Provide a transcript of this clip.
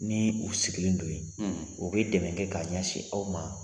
Ni u sigilen don yen u bɛ dɛmɛ kɛ k'a ɲɛsin aw ma